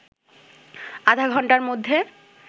আধা ঘণ্টার মধ্যে